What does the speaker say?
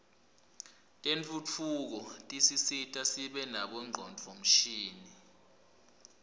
tentfutfuko tisisita sibe nabo ngcondvomshini